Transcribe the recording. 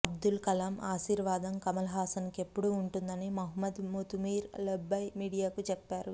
అబ్దుల్ కలామ్ ఆశీర్వాధం కమల్ హాసన్ కు ఎప్పుడూ ఉంటుందని మహమ్మద్ ముతుమీర్ లెబ్బాయ్ మీడియాకు చెప్పారు